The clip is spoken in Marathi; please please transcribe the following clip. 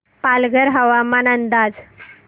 पालघर हवामान अंदाज